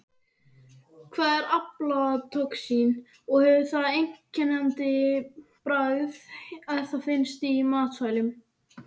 Hvað er aflatoxín og hefur það einkennandi bragð ef það finnst í matvælum?